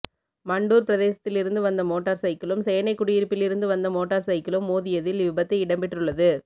மண்டூர் பிரதேசத்திலிருந்து வந்த மோட்டார் சைக்கிளும் சேனைக்குடியிருப்பிலிருந்து வந்த மோட்டார் சைக்கிளும் மோதியதில் இவ்விபத்து இடம்பெற்றுள்ளது